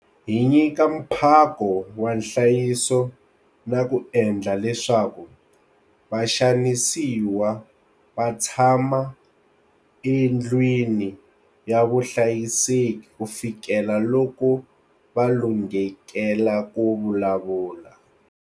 Hi nyika mphako wa nhlayiso na ku endla leswaku vaxanisiwa va tshama endlwini ya vuhlayiseki kufikela loko va lunghekele ku vulavula.